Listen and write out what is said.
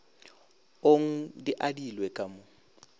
ong di adilwe ka mo